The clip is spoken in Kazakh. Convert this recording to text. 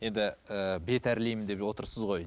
енді ііі бет әрлеймін деп отырсыз ғой